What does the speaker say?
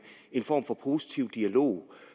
form for positiv dialog